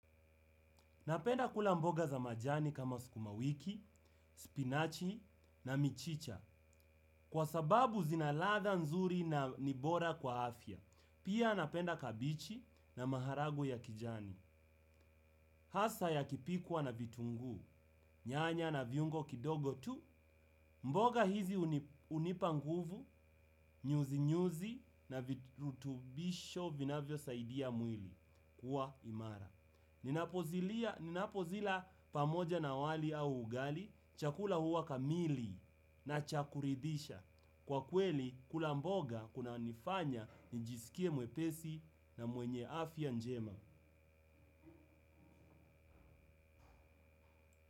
Napenda kula mboga za majani kama sukuma wiki, spinachi na michicha. Kwa sababu zina ladha nzuri na ni bora kwa afya. Pia napenda kabichi na maharagwe ya kijani. Hasa yakipikwa na vitunguu, nyanya na viungo kidogo tu mboga hizi unipa nguvu, nyuzi nyuzi na virutubisho vinavyosaidia mwili kuwa imara. Ninapozila pamoja na wali au ugali chakula huwa kamili na cha kuridhisha. Kwa kweli kula mboga kunanifanya njisikie mwepesi na mwenye afya njema.